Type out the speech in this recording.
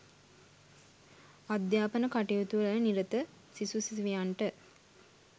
අධ්‍යාපන කටයුතුවල නිරත සිසු සිසුවියන්ට